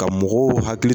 Ka mɔgɔw hakili